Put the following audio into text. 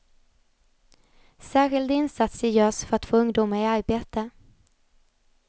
Särskilda insatser görs för att få ungdomar i arbete.